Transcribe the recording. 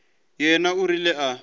yena o rile a re